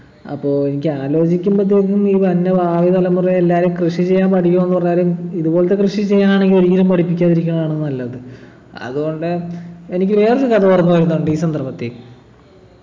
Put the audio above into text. അപ്പൊ എനിക്കാലോചിക്കുമ്പത്തേക്കും ഈ വരുന്ന ഭാവി തലമുറയെല്ലാരും കൃഷി ചെയ്യാൻ പഠിക്കണംന്ന് പറഞ്ഞാലും ഇതുപോലത്തെ കൃഷി ചെയ്യാനാണെങ്കി ഒരിക്കലും പഠിപ്പിക്കാതിരിക്കുന്നതാണ് നല്ലത് അതുകൊണ്ട് എനിക്ക് വേറൊരു കഥ ഓർമ്മ വരുന്നുണ്ടീ സന്ദർഭത്തി